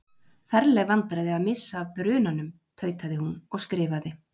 Ferleg vandræði að missa af brunan- um. tautaði hún og skrifaði